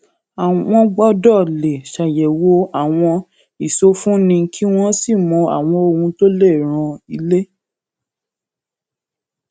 wọn ṣe ìtàkùrọsọ òótọ nípa owó láti ṣe àdínkù wàhálà àwùjọ